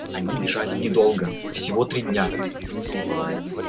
они бежали недолго всего три дня